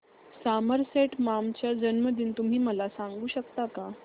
Somerset Maugham चा जन्मदिन तुम्ही मला सांगू शकता काय